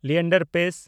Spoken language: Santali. ᱞᱤᱭᱮᱱᱰᱟᱨ ᱯᱮᱥ